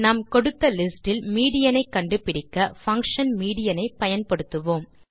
நாம் கொடுத்த லிஸ்டில் மீடியன் ஐ கண்டுபிடிக்க பங்ஷன் மீடியன் ஐ பயன்படுத்துவோம்